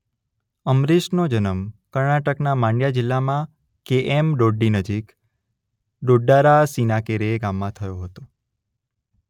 અંબરીશનો જન્મ કર્ણાટકના માંડ્યા જિલ્લામાં કે એમ ડોડ્ડી નજીક ડોડ્ડારાસિનાકેરે ગામમાં થયો હતો.